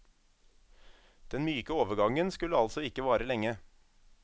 Den myke overgangen skulle altså ikke vare lenge.